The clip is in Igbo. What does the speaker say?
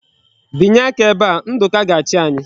Binye aka ebe a! Nduka ga-achi anyi.